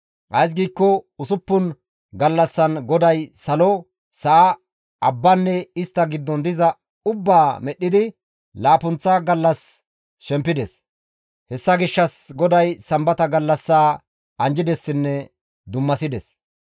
Ays giikko usuppun gallassan GODAY salo, sa7a, abbanne istta giddon diza ubbaa medhdhidi laappunththa gallas shempides. Hessa gishshas GODAY Sambata gallassaa anjjidessinne dummasides.